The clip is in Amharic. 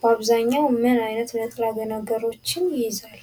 በአብዛኛው ምን አይነት ንጥረ ነገሮችን ይይዛል?